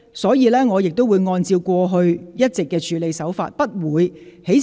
所以，這次我亦會按照過往一貫的處理方法，不會在事後才作出裁決。